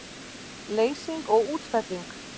Leysing og útfelling